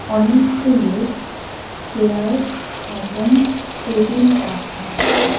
অনেকগুলো চেয়ার এবং টেবিল রাখা আছে।